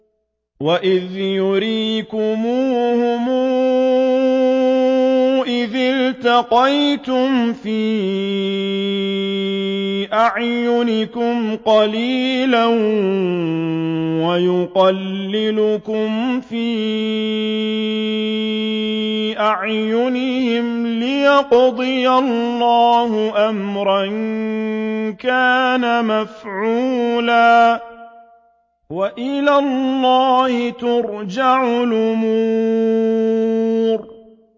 وَإِذْ يُرِيكُمُوهُمْ إِذِ الْتَقَيْتُمْ فِي أَعْيُنِكُمْ قَلِيلًا وَيُقَلِّلُكُمْ فِي أَعْيُنِهِمْ لِيَقْضِيَ اللَّهُ أَمْرًا كَانَ مَفْعُولًا ۗ وَإِلَى اللَّهِ تُرْجَعُ الْأُمُورُ